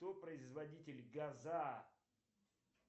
кто производитель газа